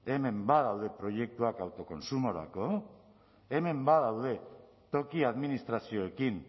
hemen badaude proiektuak autokontsumorako hemen badaude toki administrazioekin